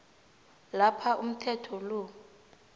lapha umthetho lo